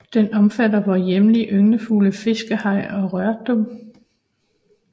Den omfatter vore hjemlige ynglefugle fiskehejre og rørdrum